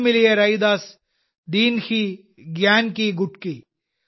ഗുരു മിലിയ രൈദാസ് ദീൻഹി ഗ്യാൻകി ഗുട്കി